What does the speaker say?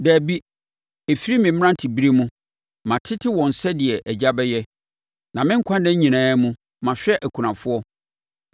Dabi, ɛfiri me mmeranteberɛ mu, matete wɔn sɛdeɛ agya bɛyɛ, na me nkwa nna nyinaa mu, mahwɛ akunafoɔ.